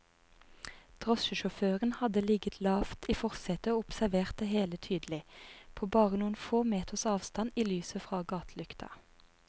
Drosjesjåføren hadde ligget lavt i forsetet og observert det hele tydelig, på bare noen få meters avstand i lyset fra gatelykta.